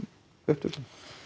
upptökum